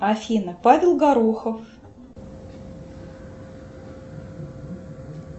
афина павел горохов